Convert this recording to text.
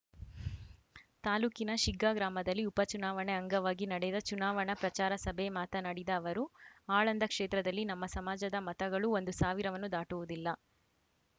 ತಾಲೂಕಿನ ಶಿಗ್ಗಾ ಗ್ರಾಮದಲ್ಲಿ ಉಪ ಚುನಾವಣೆ ಅಂಗವಾಗಿ ನಡೆದ ಚುನಾವಣಾ ಪ್ರಚಾರ ಸಭೆ ಮಾತನಾಡಿದ ಅವರು ಆಳಂದ ಕ್ಷೇತ್ರದಲ್ಲಿ ನಮ್ಮ ಸಮಾಜದ ಮತಗಳು ಒಂದು ಸಾವಿರವನ್ನೂ ದಾಟುವುದಿಲ್ಲ